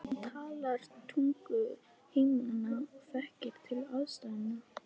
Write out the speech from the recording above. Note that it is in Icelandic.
Hann talar tungu heimamanna og þekkir til aðstæðna.